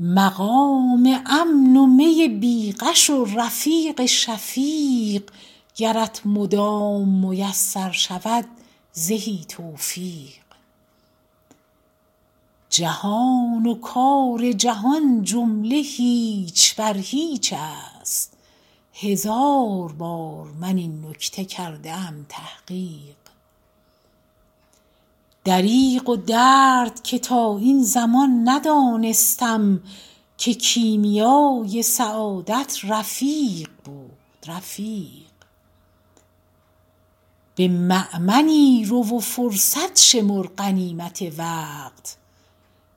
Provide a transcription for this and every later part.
مقام امن و می بی غش و رفیق شفیق گرت مدام میسر شود زهی توفیق جهان و کار جهان جمله هیچ بر هیچ است هزار بار من این نکته کرده ام تحقیق دریغ و درد که تا این زمان ندانستم که کیمیای سعادت رفیق بود رفیق به مأمنی رو و فرصت شمر غنیمت وقت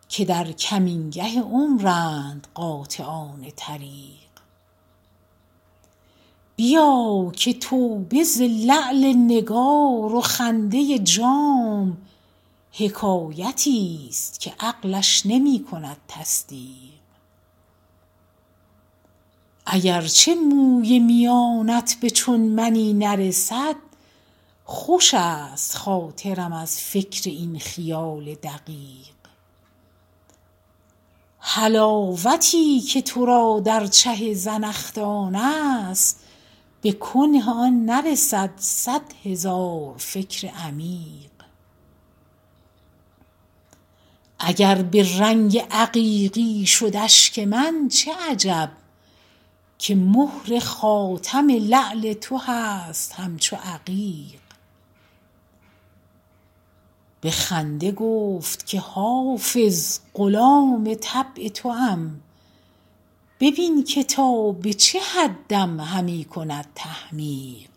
که در کمینگه عمرند قاطعان طریق بیا که توبه ز لعل نگار و خنده جام حکایتی ست که عقلش نمی کند تصدیق اگر چه موی میانت به چون منی نرسد خوش است خاطرم از فکر این خیال دقیق حلاوتی که تو را در چه زنخدان است به کنه آن نرسد صد هزار فکر عمیق اگر به رنگ عقیقی شد اشک من چه عجب که مهر خاتم لعل تو هست همچو عقیق به خنده گفت که حافظ غلام طبع توام ببین که تا به چه حدم همی کند تحمیق